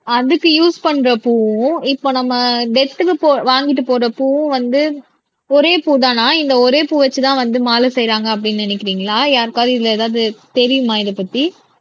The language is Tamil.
அதுக்கு யூஸ் பண்ற பூவும் இப்போ நம்ம டெத்க்கு போ வாங்கிட்டு போற பூவும் வந்து ஒரே பூதான்னா இந்த ஒரே பூவை வச்சுதான் வந்து மாலை செய்யறாங்க அப்படின்னு நினைக்கிறீங்களா யாருக்காவது இதுல எதாவது தெரியுமா இதைப்பத்தி